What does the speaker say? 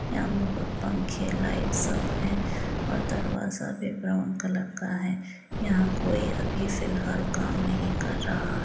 यहाँ बहुत पंखे लाइट सब हैं और दरवाजा भी ब्राउन कलर का है यहाँ कोई अभी फ़िलहाल काम नहीं कर रहा --